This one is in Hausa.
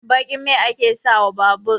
Baƙin mai ake sa wa babur